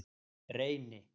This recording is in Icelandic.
Reyni